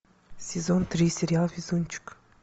сезон три сериал везунчик